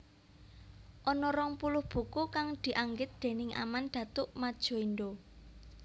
Ana rong puluh buku kang dianggit déning Aman Datuk Madjoindo